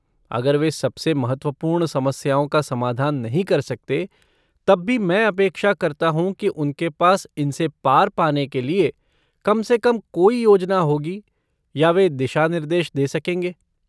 अगर वे सबसे महत्वपूर्ण समस्याओं का समाधान नहीं कर सकते, तब भी मैं अपेक्षा करता हूँ कि उनके पास इनसे पार पाने के लिए कम से कम कोई योजना होगी या वे दिशा निर्देश दे सकेंगे।